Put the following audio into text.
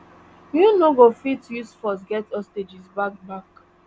you no go fit use force get hostages back back